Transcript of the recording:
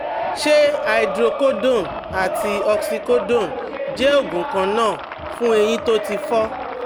Ṣé hydrocodone àti oxycodone jẹ́ òògùn kan náà fún ẹ̀yìn tí ó ti fọ́?